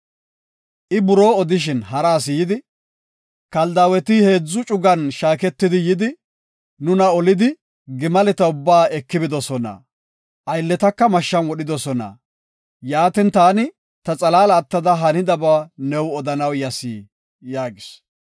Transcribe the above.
I buroo odishin hara asi yidi, “Kaldaaweti heedzu cugan shaaketidi yidi, nuna olidi gimaleta ubbaa eki bidosona; aylletaka mashshan wodhidosona. Yaatin, taani ta xalaala attada ha hanidaba new odanaw yas” yaagis.